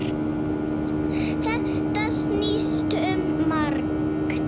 Þetta snýst um margt.